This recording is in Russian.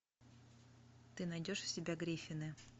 ты найдешь у себя гриффины